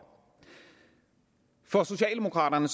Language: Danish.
for socialdemokraterne